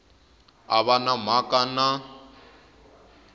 a va na mhaka na